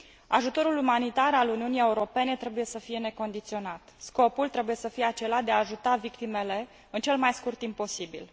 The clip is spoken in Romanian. Ajutorul umanitar al Uniunii Europene trebuie să fie necondiționat. Scopul trebuie să fie acela de a ajuta victimele în cel mai scurt timp posibil.